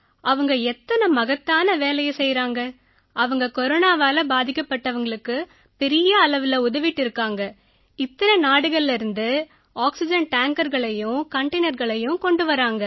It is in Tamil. அவங்க எத்தனை மகத்தான வேலையை செய்யறாங்க அவங்க கொரோனாவால பாதிக்கப்பட்டவங்களுக்கு பெரிய அளவுல உதவிட்டு இருக்காங்க இத்தனை நாடுகள்லேர்ந்து ஆக்சிஜன் டேங்கர்களையும் கண்டெய்னர்களையும் கொண்டு வர்றாங்க